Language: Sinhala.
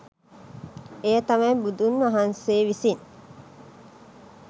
එය තමයි බුදුන් වහන්සේ විසින්